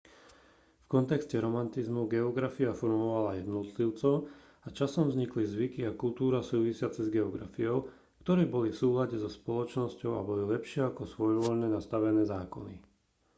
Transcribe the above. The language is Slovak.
v kontexte romantizmu geografia formovala jednotlivcov a časom vznikli zvyky a kultúra súvisiace s geografiou ktoré boli v súlade so spoločnosťou a boli lepšie ako svojvoľne nastavené zákony